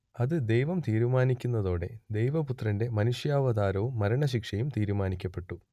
അത് ദൈവം തീരുമാനിക്കുന്നതോടെ ദൈവപുത്രന്റെ മനുഷ്യാവതാരവും മരണശിക്ഷയും തീരുമനിക്കപ്പെട്ടു